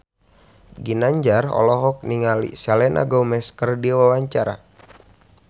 Ginanjar olohok ningali Selena Gomez keur diwawancara